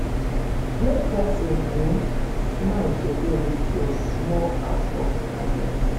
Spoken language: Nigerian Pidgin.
Make pesin um smile today with your small act of kindness.